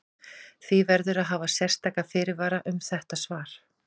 Því verður að hafa sérstaka fyrirvara um þetta svar.